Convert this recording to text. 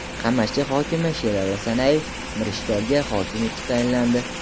Qamashi hokimi Sherali Sanayev Mirishkorga hokim etib tayinlandi.